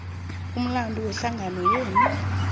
umlando wehlangano yenu